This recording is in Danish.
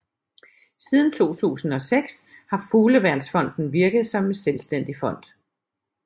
Siden 2006 har Fugleværnsfonden virket som selvstændig fond